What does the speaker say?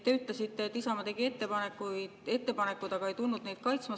Te ütlesite, et Isamaa tegi ettepanekud, aga ei tulnud neid kaitsma.